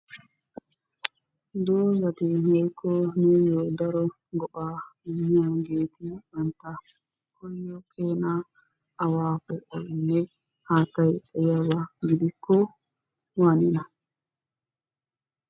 Doozati woykko nuuyyo daro go"a immiyaageeti banttaa koyiyo keena awa poo'oynne haattay xayiyyaana gidikko waaniyona?